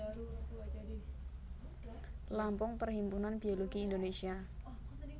Lampung Perhimpunan Biologi Indonesia